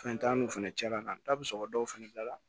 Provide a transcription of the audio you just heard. Fɛn t'an n'u fɛnɛ cɛla la n'a bɛ sɔrɔ dɔw fana bila la